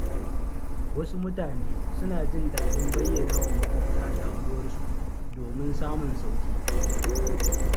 Wasu mutane suna jin daɗin bayyanawa maƙwabta damuwarsu domin samun sauƙi.